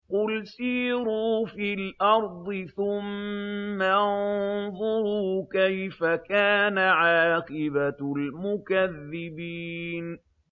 قُلْ سِيرُوا فِي الْأَرْضِ ثُمَّ انظُرُوا كَيْفَ كَانَ عَاقِبَةُ الْمُكَذِّبِينَ